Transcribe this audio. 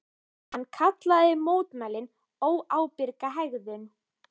Hann kallaði mótmælin óábyrga hegðun